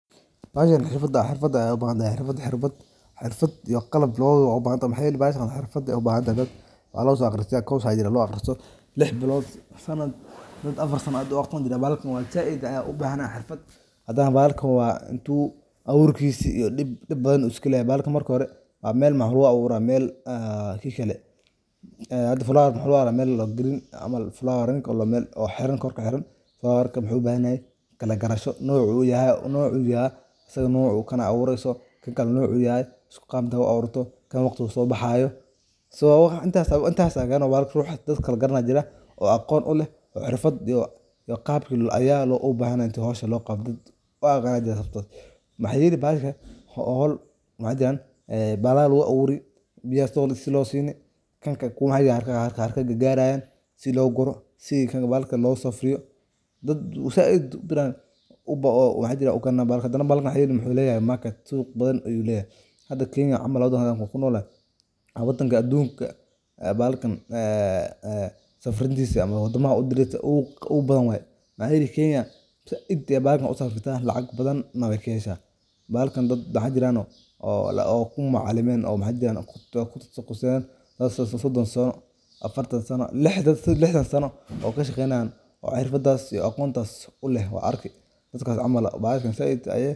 Waa nooc ka mid ah dabka lagu shidaayo, kaas oo lagu sameeyo dhoobada, dhooxa, cufnaanta shaybaarka, qashinka geedaha, iyo macduusha khudaarta, kuwaas oo la isku daro si loo sameeyo qalab daboleed adag oo aan shidan u baahnayn dabka dabiiciga ah, sida qoryaha iyo gaaska, taas oo keenta in ay yihiin mid aad u fudud oo sahlan isticmaalka, gaar ahaan goobaha qaarkeed oo aan lahayn koronto ama shidaal kale, sida tuulada iyo xeryaha, waxayna sameyn karaan faa'iidooyin muhiim ah oo dhaqaale iyo deegaanba, sida yareynta musuqmaasuqa cuntada, naafada hawooyinka, iyo ilaalinta kaydka dabiiciga ah, iyadoo la adeegsanayo khayraadka la hadhin karo si aan wax laga baahnayn lagu burburin, sidaas darteed waxay noqon karaan.